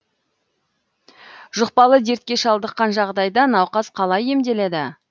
жұқпалы дертке шалдыққан жағдайда науқас қалай емделеді